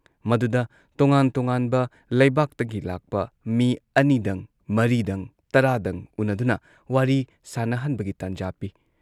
ꯃꯗꯨꯗ ꯇꯣꯉꯥꯟ ꯇꯣꯉꯥꯟꯕ ꯂꯩꯕꯥꯛꯇꯒꯤ ꯂꯥꯛꯄ ꯃꯤ ꯑꯅꯤꯗꯪ ꯃꯔꯤꯗꯪ, ꯇꯔꯥꯗꯪ ꯎꯅꯗꯨꯅ ꯋꯥꯔꯤ ꯁꯥꯟꯅꯍꯟꯕꯒꯤ ꯇꯟꯖꯥ ꯄꯤ ꯫